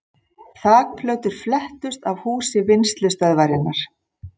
Þakplötur flettust af húsi Vinnslustöðvarinnar